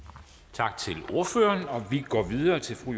tak til ordføreren og vi går videre til fru